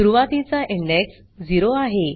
सुरवातीचा इंडेक्स 0 आहे